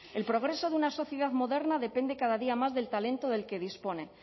el progreso de una sociedad moderna depende cada día más del talento del que dispone